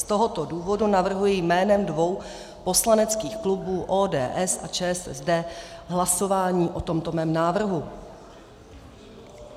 Z tohoto důvodu navrhuji jménem dvou poslaneckých klubů ODS a ČSSD hlasování o tomto mém návrhu.